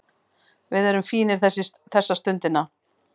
Við erum fínir þessa stundina